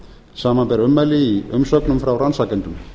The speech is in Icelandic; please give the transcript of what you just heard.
samanber ummæli í umsögnum frá rannsakendum